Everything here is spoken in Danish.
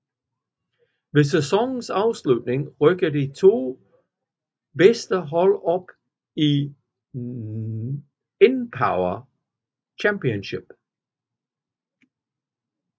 Ved sæsonens afslutning rykker de to bedste hold op i Npower Championship